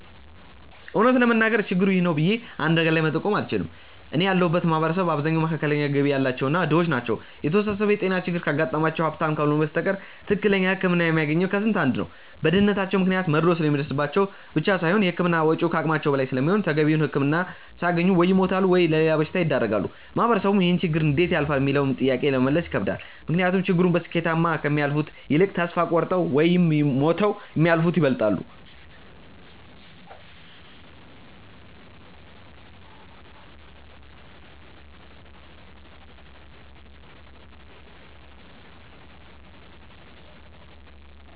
እውነት ለመናገር ችግሩ 'ይህ ነው' ብዬ አንድ ነገር ላይ መጠቆም አልችልም። እኔ ያለሁበት ማህበረሰብ አብዛኛው መካከለኛ ገቢ ያላቸው እና ድሆች ናቸው። የተወሳሰበ የጤና ችግር ካጋጠማቸው ሀብታም ካልሆኑ በስተቀር ትክክለኛ ህክምና የሚያገኘው ከስንት አንድ ነው። በድህነታቸው ምክንያት መድሎ ስለሚደርስባቸው ብቻ ሳይሆን የህክምና ወጪው ከአቅማቸው በላይ ስለሚሆን ተገቢውን ህክምና ሳያገኙ ወይ ይሞታሉ ወይም ለሌላ በሽታ ይዳረጋሉ። ማህበረሰቡም ይህንን ችግር እንዴት ያልፋሉ ሚለውንም ጥያቄ ለመመለስ ይከብዳል። ምክንያቱም ችግሩን በስኬታማ ከሚያልፉት ይልቅ ተስፋ ቆርጠው ወይም ሞተው የሚያልፉት ይበልጣሉ።